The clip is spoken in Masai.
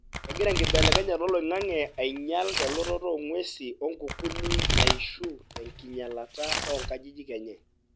kengira enkibelekenyata oloingange ainyial elototo ongwesin onkukuni naishu tenkinyialata onkajijik enye.